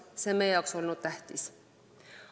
See on olnud meie jaoks tähtis.